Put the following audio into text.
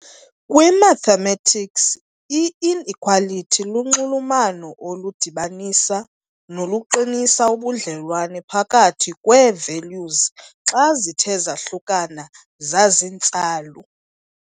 Kwi - mathematics, i-inequality lunxulumano oludibanisa noluqinisa ubudlelwane phakathi kwee-values xa zithe zahlukana zaziintsalu.